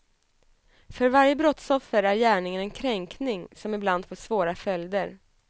För varje brottsoffer är gärningen en kränkning som ibland får svåra följder.